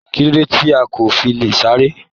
Kilode ti ko fi le sáré?